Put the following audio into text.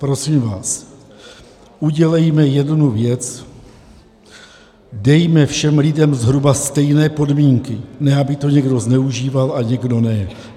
Prosím vás, udělejme jednu věc - dejme všem lidem zhruba stejné podmínky, ne aby to někdo zneužíval a někdo ne.